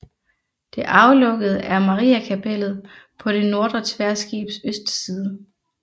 Det aflukkede er Mariakapellet på det nordre tværskibs østside